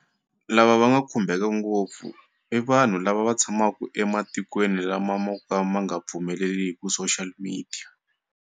Lava va nga khumbeka ngopfu i vanhu lava va tshamaku ematikweni lama mo ka ma nga pfumeleliku social media.